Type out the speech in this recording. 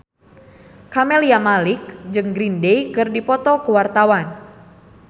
Camelia Malik jeung Green Day keur dipoto ku wartawan